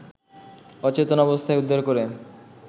অচেতন অবস্থায় উদ্ধার করে